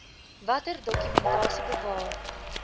watter dokumentasie bewaar